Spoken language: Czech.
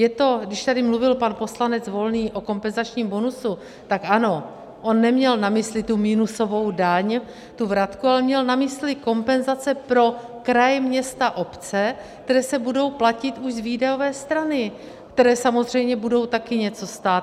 Je to, když tady mluvil pan poslanec Volný o kompenzačním bonusu, tak ano, on neměl na mysli tu minusovou daň, tu vratku, ale měl na mysli kompenzace pro kraje, města, obce, které se budou platit už z výdajové strany, které samozřejmě budou taky něco stát.